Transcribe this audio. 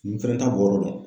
N fɛnɛ t'a bɔyɔrɔ dɔn.